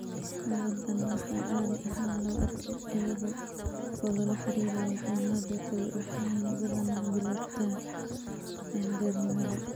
Xaaladdan waxaa caadi ahaan lagu arkaa iyada oo lala xiriiriyo xanuunnada kale waxayna badanaa bilaabataa qaangaarnimada.